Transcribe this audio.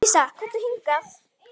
Dísa, komdu hingað!